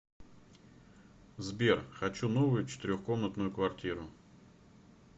сбер хочу новую четырех комнатную квартиру